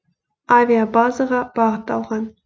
авиабазаға бағыт алған